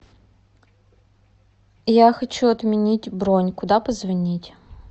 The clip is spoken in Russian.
я хочу отменить бронь куда позвонить